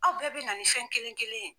Aw bɛɛ bɛ na ni fɛn kelen kelen ye.